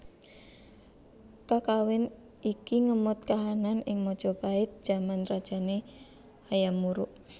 Kakawin iki ngemot kahanan ing Majapahit jaman rajane Hayam Wuruk